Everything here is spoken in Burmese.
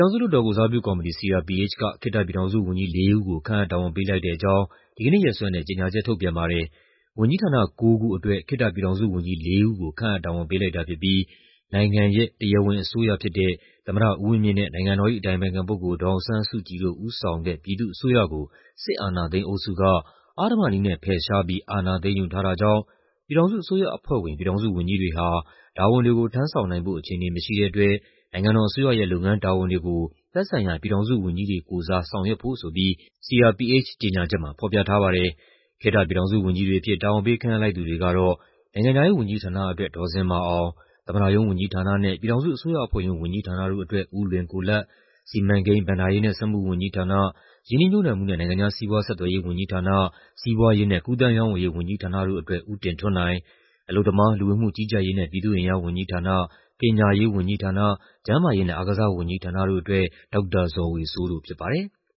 ောင်စု လွှတ်တော်ကိုယ်စားပြုကော်မတီ (CRPH) က ခေတ္တပြည်ထောင်စုဝန်ကြီး လေး ဦးကို ခန့်အပ် တာဝန်ပေးလိုက်တဲ့အကြောင်း ဒီကနေ့ရက်စွဲနဲ့ ကြေညာချက်ထုတ်ပြန်ပါတယ်။ ဝန်ကြီးဌာန ၉ ခုအတွက် ခေတ္တပြည်ထောင်စုဝန်ကြီး လေး ဦးကို ခန့်အပ် တာဝန်ပေးလိုက်တာဖြစ်ပြီး နိုင်ငံရဲ့ "တရားဝင်အစိုးရဖြစ်တဲ့ သမ္မတဦးဝင်းမြင့်နဲ့ နိုင်ငံတော်၏ အတိုင်ပင်ခံပုဂ္ဂိုလ် ဒေါ်အောင်ဆန်းစုကြည်တို့ ဦးဆောင်တဲ့ ပြည်သူ့အစိုးရကို စစ်အာဏာသိမ်းအုပ်စုက အဓမ္မနည်းနဲ့ ဖယ်ရှားပြီး အာဏာသိမ်းယူထားတာကြောင့် ပြည်ထောင်စုအစိုးရအဖွဲ့ဝင် ပြည်ထောင်စုဝန်ကြီးတွေဟာ တာဝန်တွေကို ထမ်းဆောင်နိုင်ဖို့ အခြေအနေမရှိတဲ့အတွက် နိုင်ငံတော်အစိုးရရဲ့ လုပ်ငန်းတာဝန်တွေကို သက်ဆိုင်ရာ ပြည်ထောင်စုဝန်ကြီးတွေကိုယ်စား ဆောင်ရွက်ဖို့" ဆိုပြီး CRPH ကြေညာချက်မှာ ဖော်ပြထားပါတယ်။ ခေတ္တပြည်ထောင်စုဝန်ကြီးတွေအဖြစ် တာဝန်ပေး ခန့်အပ်လိုက်သူတွေကတော့ နိုင်ငံခြားရေးဝန်ကြီးဌာနအတွက် ဒေါ်ဇင်မာအောင်၊ သမ္မတရုံးဝန်ကြီးဌာနနဲ့ ပြည်ထောင်စုအစိုးရအဖွဲ့ရုံး ဝန်ကြီးဌာနတို့အတွက် ဦးလွင်ကိုလတ်၊ စီမံကိန်း၊ ဘဏ္ဍာရေးနဲ့ စက်မှုဝန်ကြီးဌာန၊ ရင်းနှီးမြှုပ်နှံမှုနဲ့ နိုင်ငံခြားစီးပွားဆက်သွယ်ရေးဝန်ကြီးဌာန၊ စီးပွားရေးနဲ့ ကူးသန်းရောင်းဝယ်ရေးဝန်ကြီးဌာနတို့အတွက် ဦးတင်ထွန်းနိုင်၊ အလုပ်သမား၊ လူဝင်မှုကြီးကြပ်ရေးနဲ့ ပြည်သူ့အင်အားဝန်ကြီးဌာန၊ ပညာရေးဝန်ကြီးဌာန၊ ကျန်းမာရေးနဲ့ အားကစားဝန်ကြီးဌာနတို့အတွက် ဒေါက်တာဇော်ဝေစိုးတို့ဖြစ်ပါတယ်။